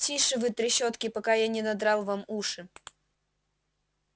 тише вы трещотки пока я не надрал вам уши